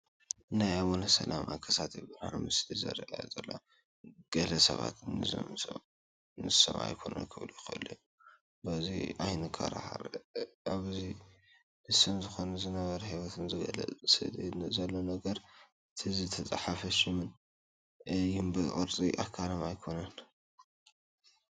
ናይ ኣቡነ ሰላማ ከሳቴ ብርሃን ምስሊ ይርአ ኣሎ፡፡ ገለ ሰባት ንሶም ኣይኮኑን ክብሉ ይኽእሉ እዮም፡፡ በዚ ኣይንከራኸር፡፡ ኣብዚ ንሶም ክኾኑ ዝገበረ ንህይወቶም ዝገልፅ ኣብቲ ስእሊ ዘሎ ነገርን እቲ ዝተፃሕፈ ሽምን እዩ እምበር ቅርፂ ኣካሎም ኣይኮነን፡፡